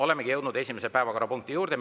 Olemegi jõudnud esimese päevakorrapunkti juurde.